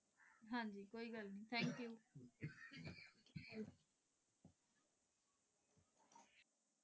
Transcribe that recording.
ਹਾਂਜੀ ਕੋਈ ਗੱਲ ਨਹੀਂ ਥੈਂਕ ਯੂ .